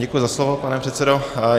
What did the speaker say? Děkuji za slovo, pane předsedo.